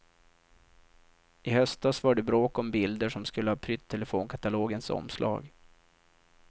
I höstas var det bråk om bilder som skulle ha prytt telefonkatalogens omslag.